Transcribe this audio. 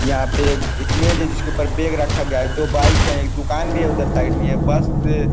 यहाँ पे एक एक मेज है जिसके ऊपर बैग रखा गया है दो बाइक है एक दुकान भी है उधर साइड में ये बस --